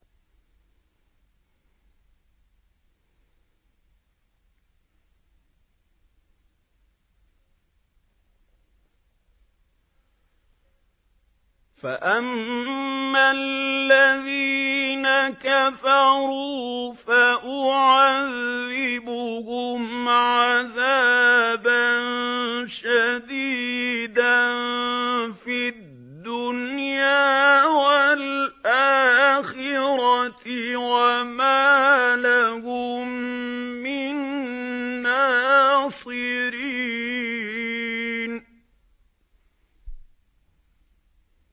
فَأَمَّا الَّذِينَ كَفَرُوا فَأُعَذِّبُهُمْ عَذَابًا شَدِيدًا فِي الدُّنْيَا وَالْآخِرَةِ وَمَا لَهُم مِّن نَّاصِرِينَ